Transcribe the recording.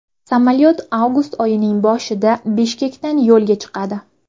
Samolyot avgust oyining boshida Bishkekdan yo‘lga chiqadi.